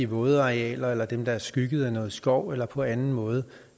vådarealer eller dem der er skygget af noget skov eller på anden måde